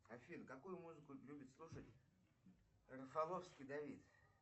афина какую музыку любит слушать рафаловский давид